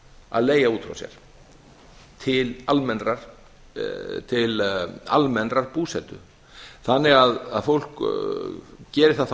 að leigja út frá sér til almennrar búsetu þannig að fólk geri það þá